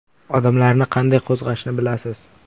Odamlarni qanday qo‘zg‘ashni bilasiz.